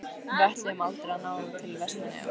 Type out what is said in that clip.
Við ætluðum aldrei að ná til Vestmannaeyja.